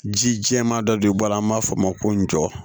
Ji jɛman dɔ de bɔ a la an b'a fɔ o ma ko jɔ